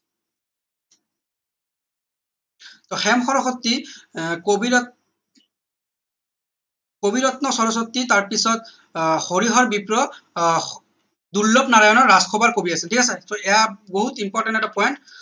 টৌ হেম সৰস্বতী আহ কবিৰত্ন কবিৰত্ন সৰস্বতী তাৰ পিছত আহ হৰিহৰ বিপ্ৰ আহ দুৰ্লনাৰায়ণৰ ৰাজ সভাৰ কবি আছিল ঠিক আছে so এইয়া বহুত important এটা point